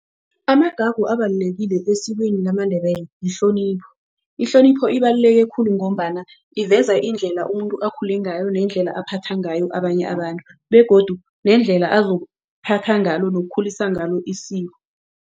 Amagagu abalulekile esikweni lesiNdebele ihlonipho. Ihlonipho ibaluleke khulu ngombana iveza indlela umuntu akhule ngayo nendlela aziphatha ngayo abanye abantu begodu nendlela ngalo nokukhulisa ngalo isiko.